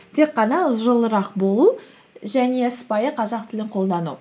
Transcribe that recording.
тек қана жылырақ болу және сыпайы қазақ тілін қолдану